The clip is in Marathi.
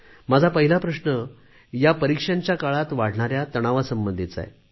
माझा पहिला प्रश्न या परिक्षांच्या काळात वाढणाऱ्या तणावासंबंधीचा आहे